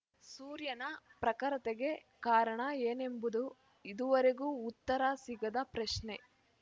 ಸೂರ್ಯನ ಪ್ರಖರತೆಗೆ ಕಾರಣ ಏನೆಂಬುದು ಇದುವರೆಗೂ ಉತ್ತರ ಸಿಗದ ಪ್ರಶ್ನೆ